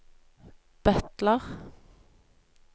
butler